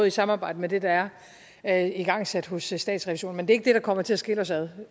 i samarbejde med det der er igangsat hos statsrevisorerne men det er ikke det der kommer til at skille os ad